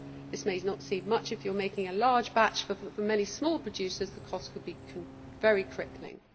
This may not seem much if you are making a large batch, but for many small producers the cost could be very crippling.